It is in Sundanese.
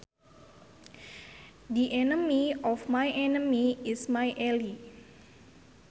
The enemy of my enemy is my ally